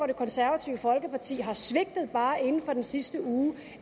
det konservative folkeparti har svigtet bare inden for den sidste uge